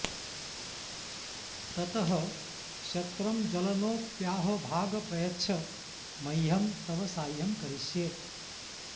ततः शक्रं ज्वलनोऽप्याह भाग प्रयच्छ मह्यं तव साह्यं करिष्ये